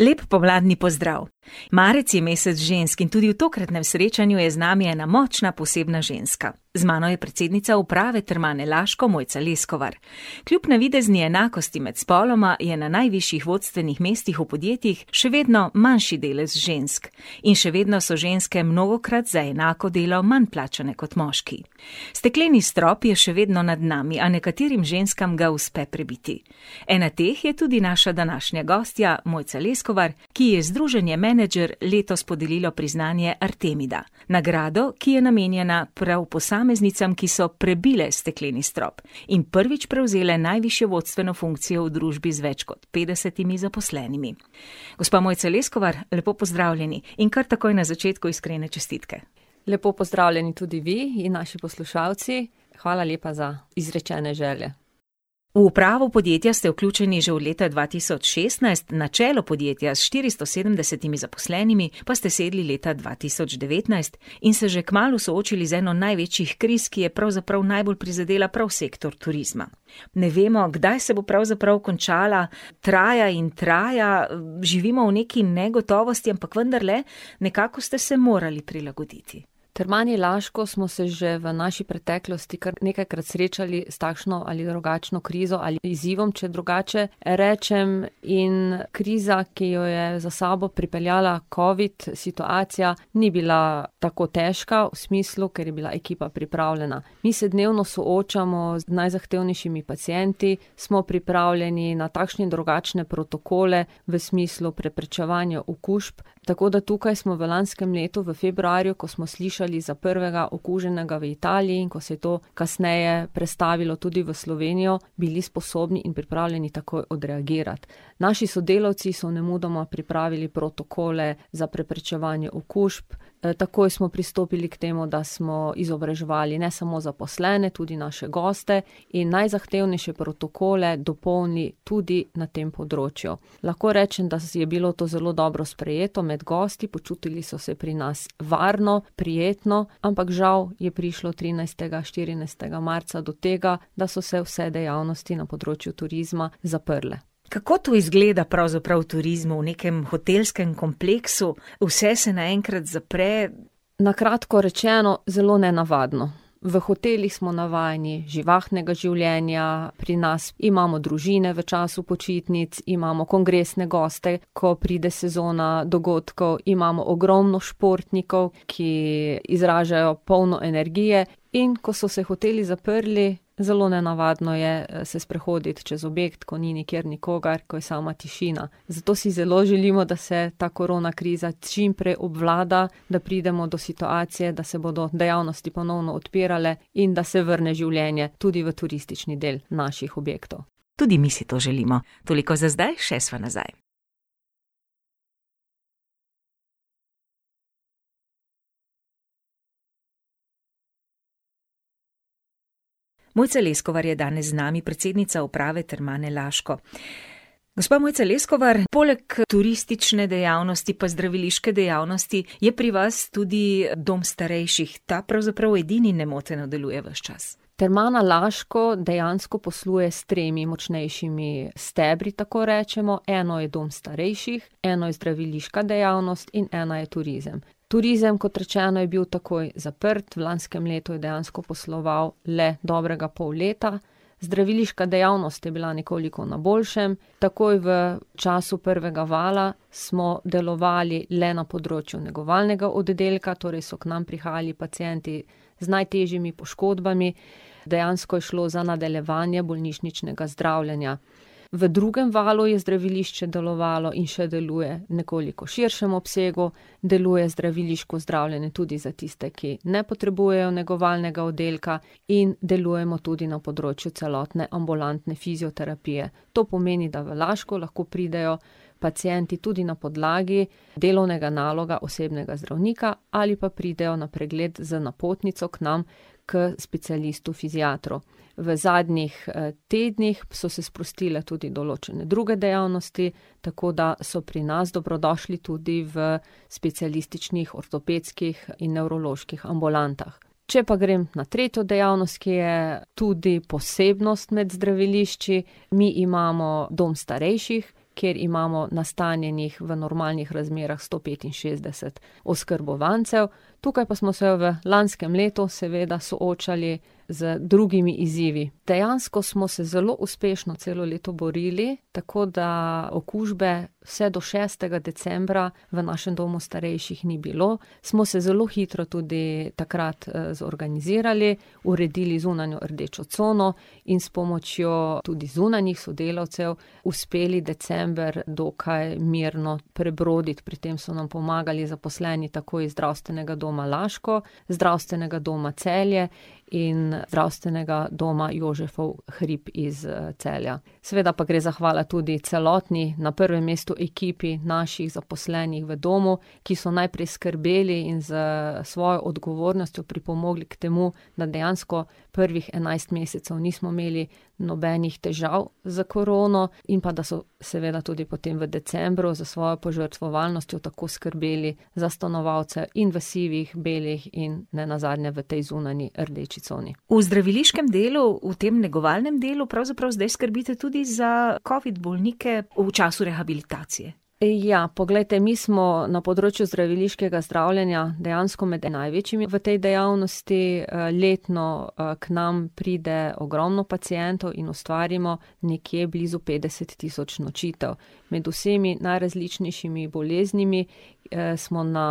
Lep pomladni pozdrav. Marec je mesec žensk in tudi v tokratnem srečanju je z nami ena močna, posebna ženska. Z mano je predsednica uprave Termane Laško, Mojca Leskovar. Kljub navidezni enakosti med spoloma je na najvišjih vodstvenih mestih v podjetjih še vedno manjši delež žensk in še vedno so ženske mnogokrat za enako delo manj plačane kot moški. Stekleni strop je še vedno nad nami. A nekaterim ženskam ga uspe prebiti. Ena teh je tudi naša današnja gostja, Mojca Leskovar, ki ji je Združenje Menedžer letos podarilo priznanje artemida, nagrado, ki je namenjena prav posameznicam, ki so prebile stekleni strop in prvič prevzele najvišjo vodstveno funkcijo v družbi z več kot petdesetimi zaposlenimi. Gospa, Mojca Leskovar, lepo pozdravljeni in kar takoj na začetku iskrene čestitke. Lepo pozdravljeni tudi vi in naši poslušalci. Hvala lepa za izrečene želje. V upravo podjetja ste vključeni že od leta dva tisoč šestnajst, na čelo podjetja s štiristo sedemdesetimi zaposlenimi pa ste sedli leta dva tisoč devetnajst in se že kmalu soočili z eno največjih kriz, ki je pravzaprav najbolj prizadela prav sektor turizma. Ne vemo, kdaj se bo pravzaprav končala, traja in traja, živimo v neki negotovosti, ampak vendarle, nekako ste se morali prilagoditi. V Termani Laško smo se že v naši preteklosti kar nekajkrat srečali s takšno ali drugačno krizo ali izzivom, če drugače rečem. In kriza, ki jo je za sabo pripeljala covid situacija, ni bila tako težka, v smislu, ker je bila ekipa pripravljena. Mi se dnevno soočamo z najzahtevnejšimi pacienti, smo pripravljeni na takšne in drugačne protokole v smislu preprečevanja okužb. Tako da tukaj smo v lanskem letu v februarju, ko smo slišali za prvega okuženega v Italiji in ko se je to kasneje prestavilo tudi v Slovenijo, bili sposobni in pripravljeni takoj odreagirati. Naši sodelavci so nemudoma pripravili protokole za preprečevanje okužb. takoj smo pristopili k temu, da smo izobraževali ne samo zaposlene, tudi naše goste in najzahtevnejše protokole dopolni tudi na tem področju. Lahko rečem, da je bilo to zelo dobro sprejeto med gosti. Počutili so se pri nas varno, prijetno, ampak žal je prišlo trinajstega, štirinajstega marca do tega, da so se vse dejavnosti na področju turizma zaprle. Kako to izgleda pravzaprav v turizmu, v nekem hotelskem kompleksu? Vse se naenkrat zapre. Na kratko rečeno, zelo nenavadno. V hotelih smo navajeni živahnega življenja, pri nas imamo družine v času počitnic, imamo kongresne goste, ko pride sezona dogodkov. Imamo ogromno športnikov, ki izražajo polno energije. In ko so se hoteli zaprli, zelo nenavadno je se sprehoditi čez objekt, ko ni nikjer nikogar, ko je sama tišina. Zato si zelo želimo, da se ta korona kriza čimprej obvlada, da pridemo do situacije, da se bodo dejavnosti ponovno odpirale in da se vrne življenje tudi v turistični del naših objektov. Tudi mi si to želimo. Toliko za zdaj, še sva nazaj. Mojca Leskovar je danes z nami, predsednica uprave Termane Laško. Gospa Mojca Leskovar, poleg turistične dejavnosti pa zdraviliške dejavnosti je pri vas tudi dom starejših. Ta pravzaprav edini nemoteno deluje ves čas. Termana Laško dejansko posluje s tremi močnejšimi stebri, tako rečemo. Eno je dom starejših, eno je zdraviliška dejavnost in ena je turizem. Turizem, kot rečeno, je bil takoj zaprt. V lanskem letu je dejansko posloval le dobrega pol leta. Zdraviliška dejavnost je bila nekoliko na boljšem. Takoj v času prvega vala smo delovali le na področju negovalnega oddelka, torej so k nam prihajali pacienti z najtežjimi poškodbami. Dejansko je šlo za nadaljevanje bolnišničnega zdravljenja. V drugem valu je zdravilišče delovalo in še deluje v nekoliko širšem obsegu. Deluje zdraviliško zdravljenje tudi za tiste, ki ne potrebujejo negovalnega oddelka. In delujemo tudi na področju celotne ambulantne fizioterapije. To pomeni, da v Laško lahko pridejo pacienti tudi na podlagi delovnega naloga osebnega zdravnika ali pa pridejo na pregled z napotnico k nam k specialistu fiziatru. V zadnjih, tednih so se sprostile tudi določene druge dejavnosti. Tako da so pri nas dobrodošli tudi v specialističnih, ortopedskih in nevroloških ambulantah. Če pa grem na tretjo dejavnost, ki je tudi posebnost med zdravilišči, mi imamo dom starejših, kjer imamo nastanjenih v normalnih razmerah sto petinšestdeset oskrbovancev. Tukaj pa smo se v lanskem letu seveda soočali z drugimi izzivi. Dejansko smo se zelo uspešno celo leto borili, tako da okužbe vse do šestega decembra v našem domu starejših ni bilo. Smo se zelo hitro tudi takrat, zorganizirali, uredili zunanjo rdečo cono in s pomočjo tudi zunanjih sodelavcev uspeli december dokaj mirno prebroditi. Pri tem so nam pomagali zaposleni tako iz Zdravstvenega doma Laško, Zdravstvenega doma Celje in Zdravstvenega doma Jožefov hrib iz, Celja. Seveda pa gre zahvala tudi celotni na prvem mestu ekipi naših zaposlenih v domu, ki so najprej skrbeli in s svojo odgovornostjo pripomogli k temu, da dejansko prvih enajst mesecev nismo imeli nobenih težav s korono, in pa, da so seveda tudi potem v decembru s svojo požrtvovalnostjo tako skrbeli za stanovalce in v sivih, belih in nenazadnje v tej zunanji rdeči coni. V zdraviliškem delu, v tem negovalnem delu pravzaprav zdaj skrbite tudi za covid bolnike v času rehabilitacije. ja. Poglejte, mi smo na področju zdraviliškega zdravljenja dejansko med največjimi v tej dejavnosti. letno, k nam pride ogromno pacientov in ustvarimo nekje blizu petdeset tisoč nočitev. Med vsemi najrazličnejšimi boleznimi, smo na,